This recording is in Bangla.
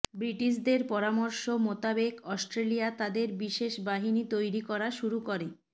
ব্রিটিশদের পরামর্শ মোতাবেক অস্ট্রেলিয়া তাদের বিশেষ বাহিনী তৈরি করা শুরু করে